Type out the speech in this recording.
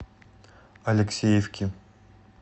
алексеевки